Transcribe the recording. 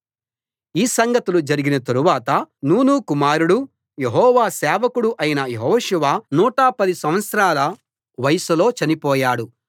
ఈ సంగతులు జరిగిన తరువాత నూను కుమారుడు యెహోవా సేవకుడు అయిన యెహోషువ 110 సంవత్సరాల వయసులో చనిపోయాడు